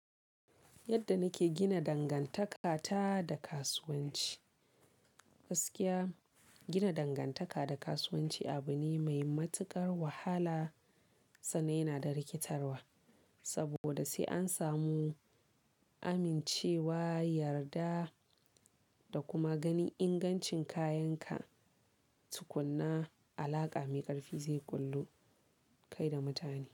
Yadda nake gina dangantakata da kasuwanci. Gaskiya gina dangantaka da kasuwanci abu ne mai matuƙar wahala sannan yana da rikitarwa. Saboda sai an samu amincewa, yarda da kuma ganin ingancin kayanka, tukuna alaƙa mai ƙarfi zai kullu kai da mutane,